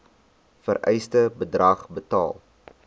vereiste bedrag betaal